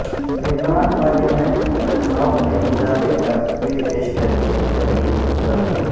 ممبران پارلیمنٹ کی تنخواہوں میں اضافے کا بل پیش کرنے کی تحریک مسترد